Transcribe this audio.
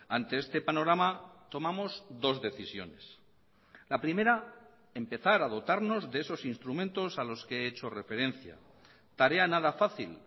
ante este panorama tomamos dos decisiones la primera empezar a dotarnos de esos instrumentos a los que he hecho referencia tarea nada fácil